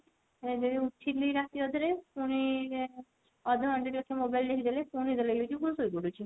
ହେଲେ ଉଠିଲି ରାତି ଅଧ ରେ ପୁଣି ଅଧ ଘଣ୍ଟା ଟେ mobile ଦେଖିଦେଲେ ପୁଣି ନିଦ ଲାଗୁଛି ପୁଣି ଶୋଇପଡୁଛି